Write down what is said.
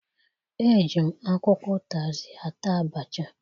Eji m akwụkwọ ụtazị ata abacha.